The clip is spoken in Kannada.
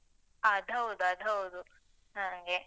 ಅದ್ ಹೌದ್, ಅದ್ ಹೌದು ಹಾಗೆ.